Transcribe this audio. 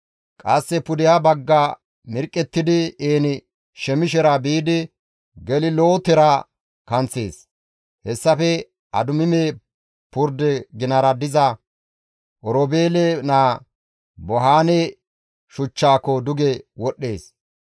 Qasse pudeha bagga mirqqettidi En-Shemishera biidi Gelilootera kanththees; hessafe Adumime purde ginara diza Oroobeele naa Bohaane shuchchaako duge wodhdhees.